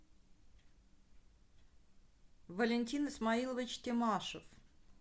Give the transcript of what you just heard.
валентин исмаилович тимашев